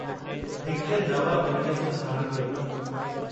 हिक नव उणिवीह सौ छहानवे